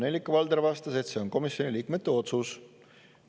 Nellika Valder vastas, et see on komisjoni liikmete otsus.